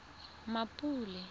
mmapule